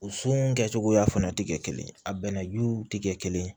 O sun kɛcogoya fana ti kɛ kelen ye a bɛnna juw ti kɛ kelen ye